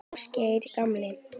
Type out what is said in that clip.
Ásgeiri gamla.